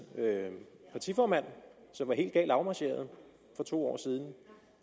partiformand som var helt galt afmarcheret for to år siden